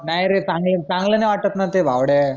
नाई रे चांगलं चांगलं नाई वाटत न ते भावड्या